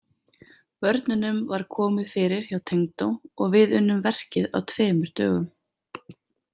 Börnunum var komið fyrir hjá tengdó og við unnum verkið á tveimur dögum.